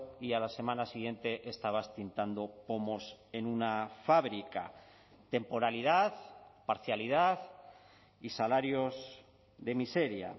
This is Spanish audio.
y a la semana siguiente estabas tintando pomos en una fábrica temporalidad parcialidad y salarios de miseria